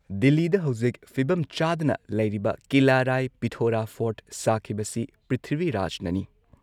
ꯗꯤꯜꯂꯤꯗ ꯍꯧꯖꯤꯛ ꯐꯤꯕꯝ ꯆꯗꯥꯅ ꯂꯩꯔꯤꯕ ꯀꯤꯂꯥ ꯔꯥꯏ ꯄꯤꯊꯣꯔꯥ ꯐꯣꯔꯠ ꯁꯥꯈꯤꯕꯁꯤ ꯄ꯭ꯔꯤꯊꯤꯕꯤꯔꯥꯖꯅꯅꯤ ꯫